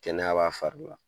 Kɛnɛya b'a fari la